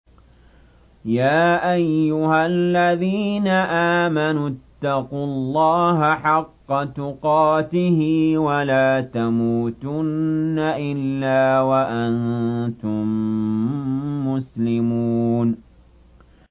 يَا أَيُّهَا الَّذِينَ آمَنُوا اتَّقُوا اللَّهَ حَقَّ تُقَاتِهِ وَلَا تَمُوتُنَّ إِلَّا وَأَنتُم مُّسْلِمُونَ